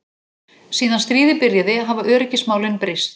Síðan stríðið byrjaði hafa öryggismálin breyst.